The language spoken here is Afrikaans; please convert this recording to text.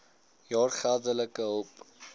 jaar geldelike hulp